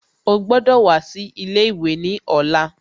Ó gbọ́dọ̀ wá sí ilé ìwé ní ọ̀la